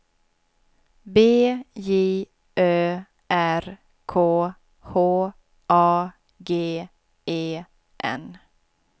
B J Ö R K H A G E N